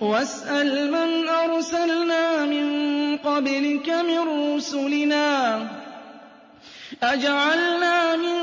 وَاسْأَلْ مَنْ أَرْسَلْنَا مِن قَبْلِكَ مِن رُّسُلِنَا أَجَعَلْنَا مِن